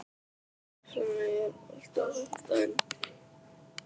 Flemming, er bolti á fimmtudaginn?